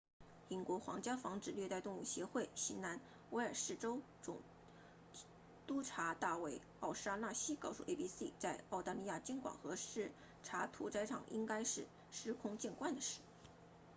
英国皇家防止虐待动物协会 rspca 新南威尔士州总督察大卫奥沙纳西 david o'shannessy 告诉 abc 在澳大利亚监管和视察屠宰场应该是司空见惯的事